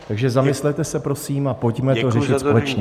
Takže zamyslete se prosím a pojďme to řešit společně.